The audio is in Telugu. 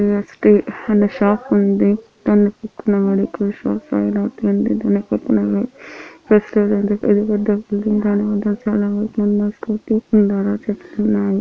జి_ఎస్_టి అనే షాప్ ఉంది ప్రేస్టేజ్ దాని ముందు చాలా వెహికిల్ ఉన్నాయ్ స్కూటీ ఉందాడ చెట్లున్నాయి.